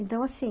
Então, assim,